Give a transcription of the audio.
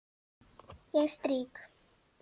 Ég strýk.